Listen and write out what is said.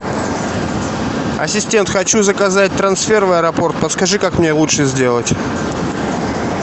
ассистент хочу заказать трансфер в аэропорт подскажи как мне лучше сделать